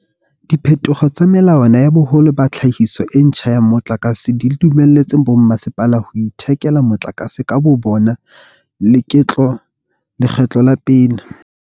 Diphetoho tsa melawana ya boholo ba tlhahiso e ntjha ya motlakase di dumelletse bommasepala ho ithekela motlakase ka bobona leketlo la pele.